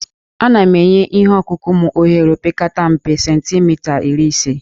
Ana m enye ihe ọkụkụ m ohere opekata mpe cemtimita iri ise